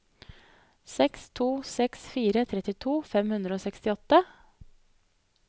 seks to seks fire trettito fem hundre og sekstiåtte